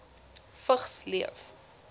vigs leef